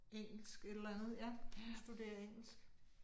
Engelsk et eller andet, ja. Hun studerer engelsk